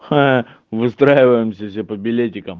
ха-ха выстраиваемся все по билетикам